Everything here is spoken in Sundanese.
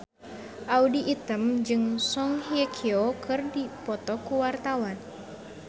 Audy Item jeung Song Hye Kyo keur dipoto ku wartawan